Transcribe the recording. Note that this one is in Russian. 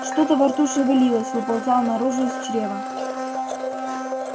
что-то во рту шевелилось выползало наружу из чрева